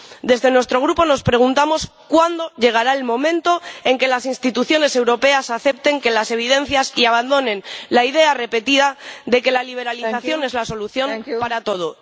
En nuestro Grupo nos preguntamos cuándo llegará el momento en que las instituciones europeas acepten las evidencias y abandonen la idea repetida de que la liberalización es la solución para todo.